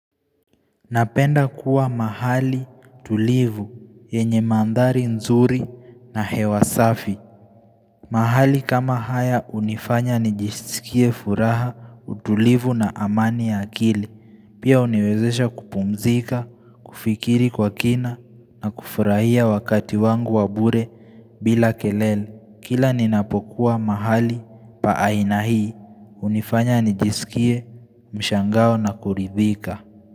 Napenda kuwa mahali tulivu yenye mandhari nzuri na hewa safi. Mahali kama haya hunifanya nijisikie furaha utulivu na amani ya akili. Pia uniwezesha kupumzika, kufikiri kwa kina na kufurahia wakati wangu wa bure bila kelele. Kila ninapokuwa mahali pa aina hii, hunifanya nijisikie mshangao na kuridhika.